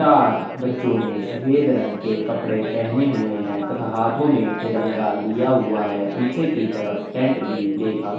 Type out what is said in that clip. चार बच्चो ने सफ़ेद रंग के कपड़े पहने हुए है तथा हाथों में तिरंगा लिया हुआ है पीछे की तरफ टेंट भी देखा। --